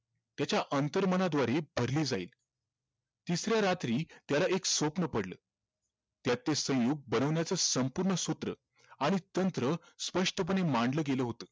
त्याच्या अंतर्मनाद्वारे भरली जाईल तिसऱ्या रात्री त्याला एक स्वप्न पडलं त्यात ते संयुग बनवण्याचं संपूर्ण सूत्र आणि तंत्र स्पष्टपणे मांडलं गेलं होत